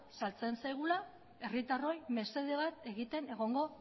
sartzen zaigula herritarroi mesede bat egiten egongo